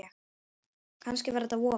Kannski var þetta vofa